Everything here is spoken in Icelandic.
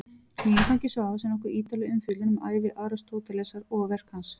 Í inngangi Svavars er nokkuð ítarleg umfjöllun um ævi Aristótelesar og verk hans.